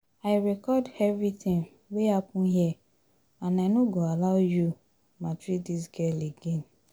I record everything wey happen here and I no go allow you maltreat dis girl again